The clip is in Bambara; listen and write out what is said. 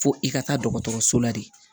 Fo i ka taa dɔgɔtɔrɔso la de